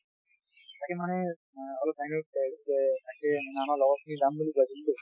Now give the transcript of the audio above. তাকে মানে অ অলপ আমাৰ লগৰ খিনি যাম বুলি ভাবিছিলো